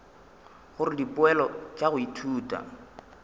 gore dipoelo tša go ithuta